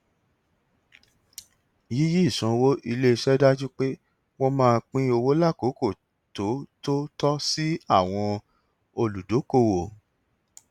yíyí ìsanwó iléiṣẹ dájú pé wọn máa pín owó lákòókò tó tó tọ sí àwọn olùdókòwò